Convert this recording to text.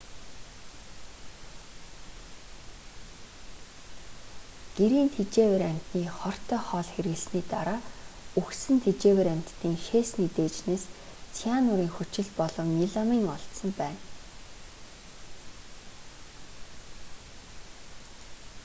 гэрийн тэжээвэр амьтны хортой хоол хэрэглэсний дараа үхсэн тэжээвэр амьтдын шээсний дээжнээс цианурын хүчил болон меламин олдсон байна